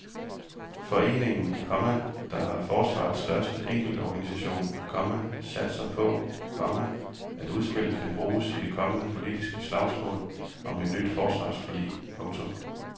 Foreningen, komma der er forsvarets største enkeltorganisation, komma satser på, komma at udspillet kan bruges i det kommende politiske slagsmål om et nyt forsvarsforlig. punktum